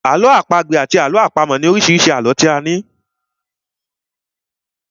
Àlọ́ àpagbè àti àlọ́ àpamọ̀ ni oríṣi àlọ́ tí a ní.